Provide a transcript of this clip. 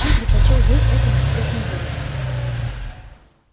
он предпочёл ей эту бесцветную дурочку